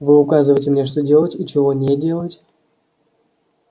вы указываете мне что делать и чего не делать